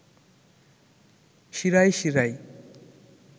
শিরায় শিরায়